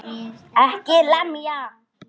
EKKI LEMJA!